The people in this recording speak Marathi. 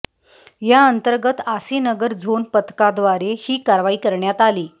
या अंतर्गत आसीनगर झोन पथकाद्वारे ही कारवाई करण्यात आली